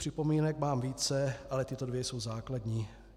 Připomínek mám více, ale tyto dvě jsou základní.